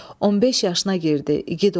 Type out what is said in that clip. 15 yaşına girdi, igid oldu.